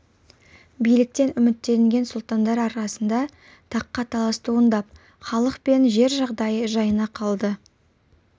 биліктен үміттенген сұлтандар арасында таққа талас туындап халық пен жер жағдайы жайына қалады